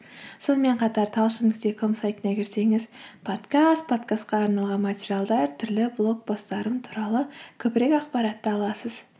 сонымен қатар талшын нүкте ком сайтына кірсеңіз подкаст подкастқа арналған материалдар түрлі блог посттарым туралы көбірек ақпаратты аласыз